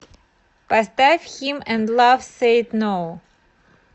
поставь хим энд лав сэйд ноу